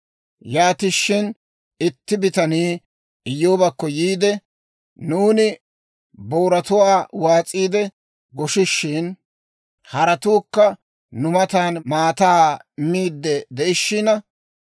Yaatishin itti bitanii Iyyoobakko yiide, «Nuuni booratuwaa waas'iide goshishin, haretuukka nu matan maataa miidde de'ishiina,